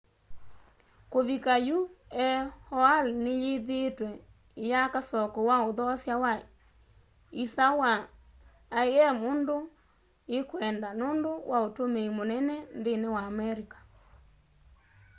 kuvika yu aol ni yithiitwe iyaka soko wa uthoosya wa isa wa im undu ikwenda nundu wa utumii munene nthini wa america